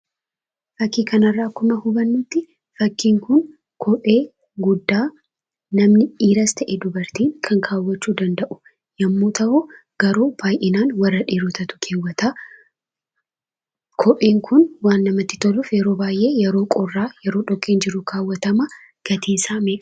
Fakkii kana irraa akkuma hubannutti, fakkiin kun, kophee guddaa namni dhiiras ta'e; dubartiin kan keewwachuu danda'u yommuu ta'u, garuu baay'inaan warra dhiirotaatu keewwata. kopheen kun waan namatti toluuf yeroo baay'ee:yeroo qorraa fi yeroo dhoqqeen jiru keewwatama. gatiin isaa meeqa?